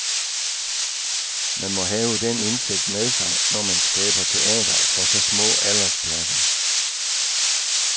Man må have den indsigt med sig, når man skaber teater for så små aldersklasser.